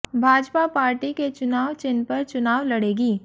Bhajpa party के चुनाव चिह्न पर चुनाव लड़ेगी